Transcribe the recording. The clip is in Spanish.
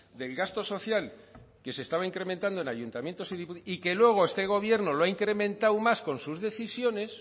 del gasto social que se estaba incrementando en ayuntamientos y que luego este gobierno lo ha incrementado más con sus decisiones